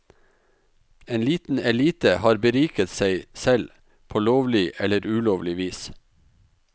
En liten elite har beriket seg selv på lovlig eller ulovlig vis.